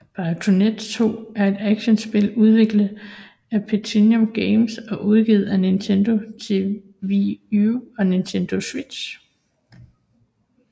Bayonetta 2 er et actionspil udviklet af PlatinumGames og udgivet af Nintendo til Wii U og Nintendo Switch